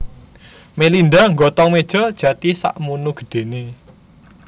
Melinda nggotong meja jati sakmunu gedhene